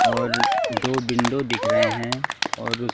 और दो विंडो दिख रहे हैं और उस--